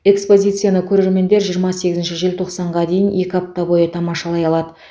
экспозицияны көрермендер жиырма сегізінші желтоқсанға дейін екі апта бойы тамашалай алады